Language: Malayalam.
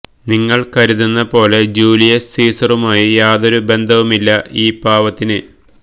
നിങ്ങൾ കരതുന്ന പോലെ ജൂലിയസ് സീസറുമായി യാതൊരു ബന്ധവുമില്ല ഈ പാവത്തിന്